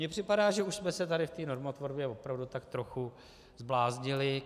Mně připadá, že už jsme se tady v té normotvorbě opravdu tak trochu zbláznili.